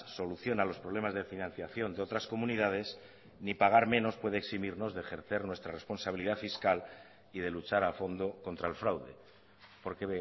soluciona los problemas de financiación de otras comunidades ni pagar menos puede eximirnos de ejercer nuestra responsabilidad fiscal y de luchar a fondo contra el fraude porque